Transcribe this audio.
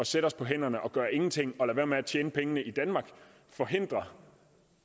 sætte os på hænderne og gøre ingenting og lade være med at tjene pengene i danmark forhindre